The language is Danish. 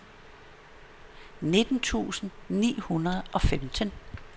nitten tusind ni hundrede og femten